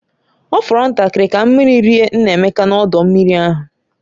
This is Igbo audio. Ọ fọrọ ntakịrị ka mmiri rie Nnaemeka n'ọdọ mmiri ahụ